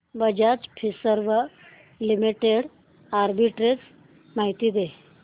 Bajaj Finserv limited arbitrage माहिती दे